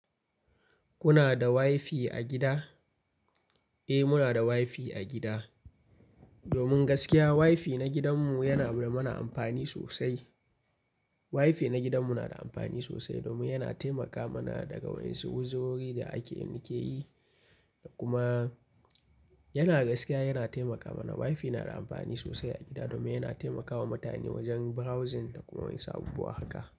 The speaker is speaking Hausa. Kuna da WiFi a gida? Eh, muna da WiFi a gida. Domin gaskiya, WiFi na gidanmu yana ba da mana amfani sosai. WiFi na gidanmu na da amfani sosai domin yana taimaka mana daga wani su uzirori da ake yi kuma yana gaskiya yana taimaka mana. WiFi na da amfani sosai a gida domin yana taimakawa mutane wajen browsing da kuma wasu abubu wa haka.